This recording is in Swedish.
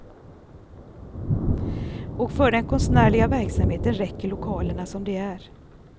Och för den konstnärliga verksamheten räcker lokalerna som de är.